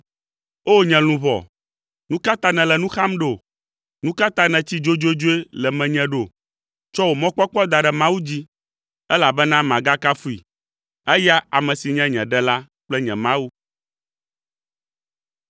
O! Nye luʋɔ, nu ka ta nèle nu xam ɖo? Nu ka ta nètsi dzodzodzoe le menye ɖo? Tsɔ wò mɔkpɔkpɔ da ɖe Mawu dzi, elabena magakafui, eya ame si nye nye Ɖela kple nye Mawu.